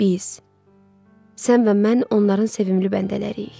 Biz, sən və mən onların sevimli bəndələriyik.